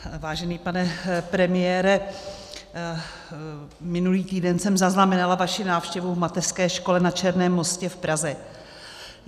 Vážený pane premiére, minulý týden jsem zaznamenala vaši návštěvu v mateřské škole na Černém mostě v Praze.